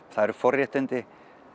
það eru forréttindi